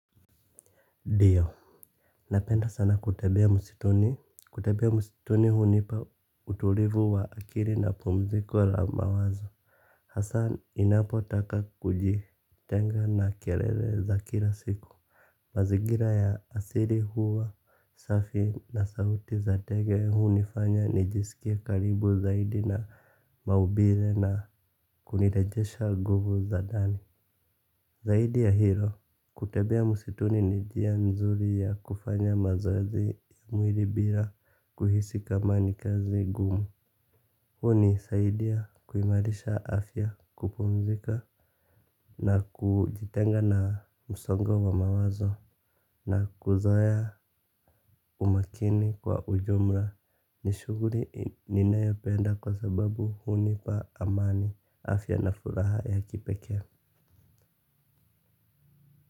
Ndio. Napenda sana kutembea msituni. Kutembea msituni hunipa utulivu wa akili na pumziko la mawazo. Hasa ninapotaka kujitenga na kelele za kila siku. Mazingira ya asili huwa safi na sauti za ndege hunifanya nijisikie karibu zaidi na maumbile na kunirejesha nguvu za ndani. Zaidi ya hilo kutembea msituni ni njia nzuri ya kufanya mazoezi ya mwili bila kuhisi kama ni kazi ngumu. Hunisaidia kuimarisha afya kupumzika na kujitenga na msongo wa mawazo. Na kuzoea umakini kwa ujumla ni shuguli ninayopenda kwa sababu hunipa amani afya na furaha ya kipekee.